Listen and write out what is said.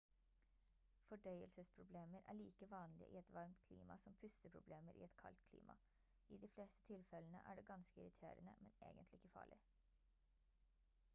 fordøyelsesproblemer er like vanlige i et varmt klima som pusteproblemer i et kaldt klima i de fleste tilfellene er det ganske irriterende men egentlig ikke farlig